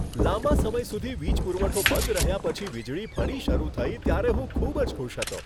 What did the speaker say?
લાંબા સમય સુધી વીજ પુરવઠો બંધ રહ્યા પછી વીજળી ફરી શરૂ થઈ ત્યારે હું ખૂબ જ ખુશ હતો.